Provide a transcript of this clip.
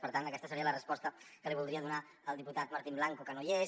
per tant aquesta seria la resposta que li voldria donar al diputat martín blanco que no hi és